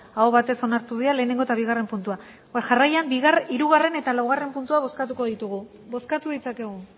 aho batez onartu dira lehenengo eta bigarren puntua jarraian hirugarren eta laugarren puntua bozkatuko ditugu bozkatu ditzakegu